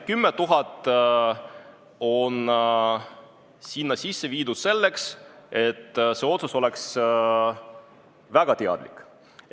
10 000 euro piir on sisse toodud selleks, et see otsus oleks väga teadlik.